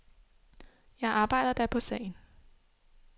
Jeg arbejder da på sagen.